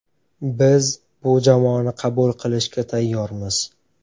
Biz bu jamoani qabul qilishga tayyormiz.